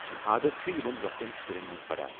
یہ عادتھ چُھ یمن لوكٹٮ۪ن شُرین منز بڈان ۔